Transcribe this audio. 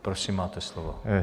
Prosím, máte slovo.